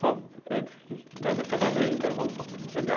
Só antes que, né? Do casamento, vamos só chegar.